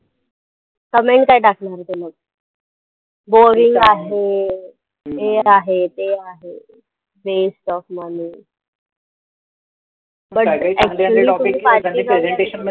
comment काय टाकली मग त्यांनी boring आहे हे आहे ते आहे waste of money but actually tumhi